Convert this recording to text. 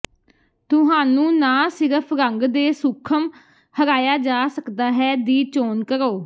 ਤੁਹਾਨੂੰ ਨਾ ਸਿਰਫ ਰੰਗ ਦੇ ਸੂਖਮ ਹਰਾਇਆ ਜਾ ਸਕਦਾ ਹੈ ਦੀ ਚੋਣ ਕਰੋ